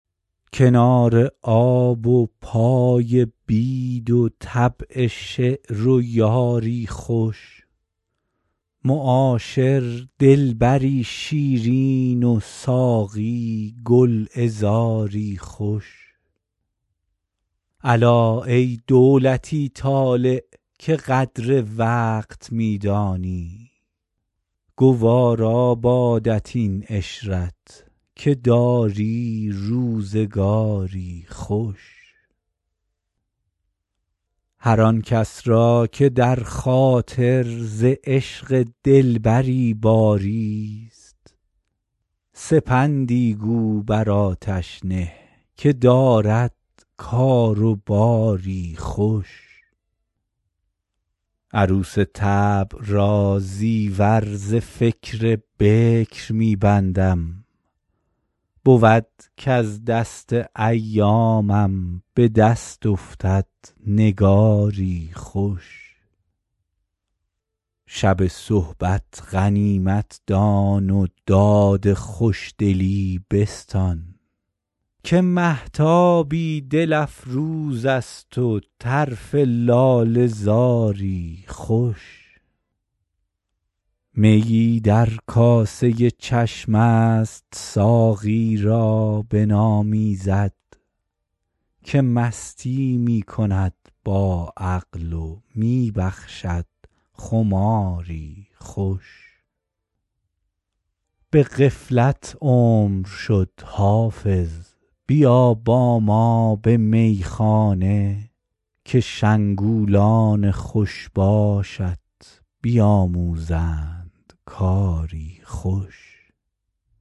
کنار آب و پای بید و طبع شعر و یاری خوش معاشر دلبری شیرین و ساقی گلعذاری خوش الا ای دولتی طالع که قدر وقت می دانی گوارا بادت این عشرت که داری روزگاری خوش هر آن کس را که در خاطر ز عشق دلبری باریست سپندی گو بر آتش نه که دارد کار و باری خوش عروس طبع را زیور ز فکر بکر می بندم بود کز دست ایامم به دست افتد نگاری خوش شب صحبت غنیمت دان و داد خوشدلی بستان که مهتابی دل افروز است و طرف لاله زاری خوش میی در کاسه چشم است ساقی را بنامیزد که مستی می کند با عقل و می بخشد خماری خوش به غفلت عمر شد حافظ بیا با ما به میخانه که شنگولان خوش باشت بیاموزند کاری خوش